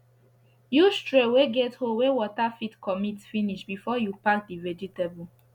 use tray wey get hole wey water fit commit finish before u pack d vegetable